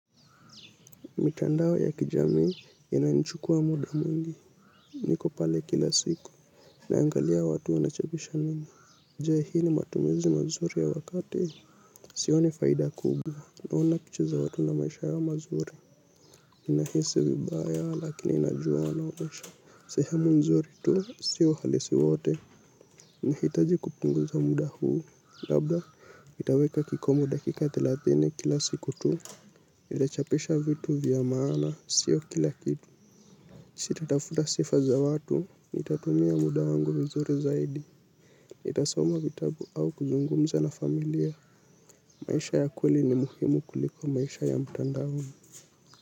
Mitandao ya kijamii ina nichukua muda mwingi, niko pale kila siku, naangalia watu wanachapisha nini. Je hii ni matumizi mazuri ya wakati, sio ni faida kubwa, naona pichaza watu na maisha yao mazuri. Ninahisi vibaya, lakini najua wanaonsha. Sehemu nzuri tu, si uhalisi wwote. Nahitaji kupunguza muda huu, labda, nitaweka kikomo dakika thelathini kila siku tu. Nitachapisha vitu vya maana, sio kila kitu. Sitatafuta sifa za watu, nitatumia muda wangu vizuri zaidi. Nitasoma vitabu au kuzungumza na familia. Maisha ya kweli ni muhimu kuliko maisha ya mtandaoni.